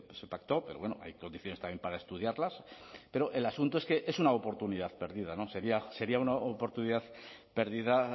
se pactó pero bueno hay condiciones también para estudiarlas pero el asunto es que es una oportunidad perdida sería una oportunidad perdida